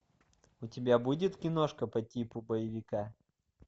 у тебя будет киношка по типу боевика